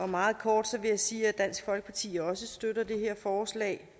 meget kort sige at dansk folkeparti også støtter det her forslag